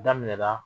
Daminɛna